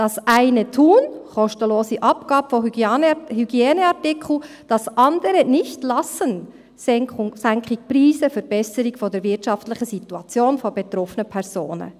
Das eine tun – kostenlose Abgabe von Hygieneartikeln –, das andere nicht lassen – Senkung der Preise, Verbesserung der wirtschaftlichen Situation von betroffenen Personen.